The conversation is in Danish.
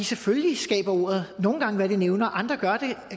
selvfølgelig skaber ordet nogle gange hvad det nævner andre